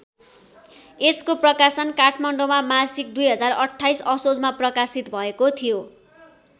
यसको प्रकाशन काठमाडौँमा मासिक २०२८ असोजमा प्रकाशित भएको थियो।